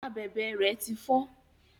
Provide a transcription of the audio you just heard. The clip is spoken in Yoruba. Abèbè rẹ ti fọ.